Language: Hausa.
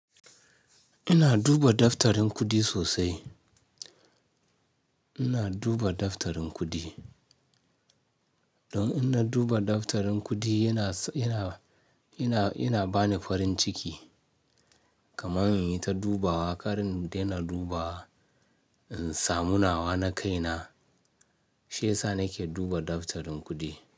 Ina duba daftarin kudi sosai. Ina duba daftarin kudi. Don ina duba daftarin kudi yana, yana, yana, yana bani farin ciki. Kamar in yi ta dubawa, kar in daina dubawa, in samu nawa na kai na, shi ya sa nake duba daftarin kudi.